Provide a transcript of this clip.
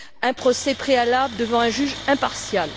un procès préalable devant un juge impartial.